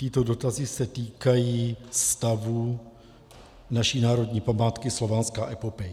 Tyto dotazy se týkají stavu naší národní památky Slovanská epopej.